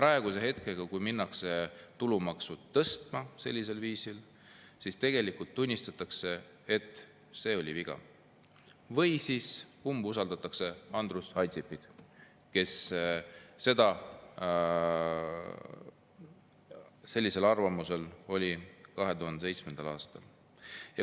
Minu arust praegu, kui minnakse tõstma tulumaksu sellisel viisil, tunnistatakse, et see oli viga, või siis umbusaldatakse Andrus Ansipit, kes oli sellisel arvamusel 2007. aastal.